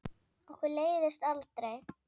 Okkur leiðist aldrei!